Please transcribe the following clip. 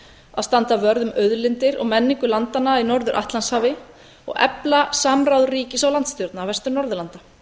að standa vörð um auðlindir og menningu landanna í norður atlantshafi og efla samráð ríkis og landsstjórna vestur norðurlanda